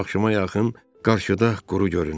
Axşama yaxın qarşıda quru göründü.